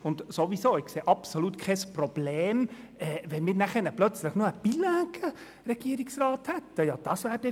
Ich sehe ohnehin absolut kein Problem darin, wenn wir plötzlich noch einen Regierungsrat hätten, der bilingue ist.